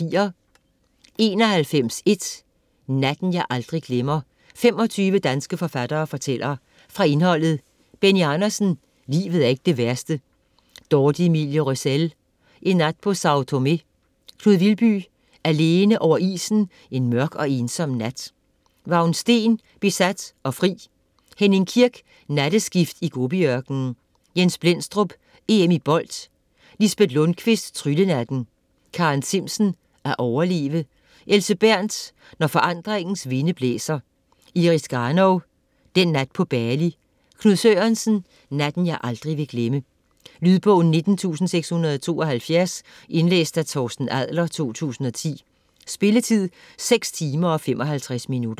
99.1 Natten jeg aldrig glemmer: 25 danske forfattere fortæller Fra indholdet: Benny Andersen: Livet er ikke det værste. Dorthe Emilie Røssell: En nat på Sâo Tomé. Knud Vilby: Alene over isen en mørk og ensom nat. Vagn Steen: Besat og fri. Henning Kirk: Natteskift i Gobiørkenen. Jens Blendstrup: EM i bold. Lisbet Lundquist: Tryllenatten. Karen Zimsen: At overleve. Else Berenth: Når forandringens vinde blæser. Iris Garnov: Den nat på Bali. Knud Sørensen: Natten jeg aldrig vil glemme. Lydbog 19672 Indlæst af Torsten Adler, 2010. Spilletid: 6 timer, 55 minutter.